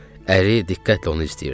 Əri diqqətlə onu izləyirdi.